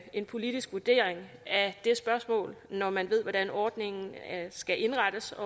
en politisk vurdering af det spørgsmål når man ved hvordan ordningen skal indrettes